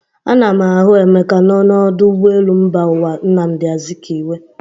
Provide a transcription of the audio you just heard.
Ana m ahụ Emeka nọ n'ọdụ ụgbọelu mba ụwa Nnamdị Azikiwe.